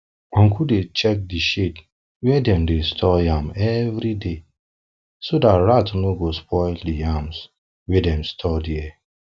uncle dey check di shed wia dem dey store yam everyday so dat rats no go dey spoil di yams wey dem store dia